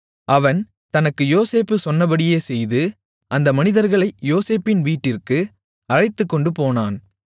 அவன் தனக்கு யோசேப்பு சொன்னபடியே செய்து அந்த மனிதர்களை யோசேப்பின் வீட்டிற்கு அழைத்துக்கொண்டு போனான்